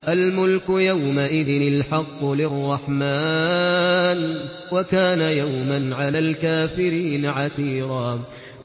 الْمُلْكُ يَوْمَئِذٍ الْحَقُّ لِلرَّحْمَٰنِ ۚ وَكَانَ يَوْمًا عَلَى الْكَافِرِينَ عَسِيرًا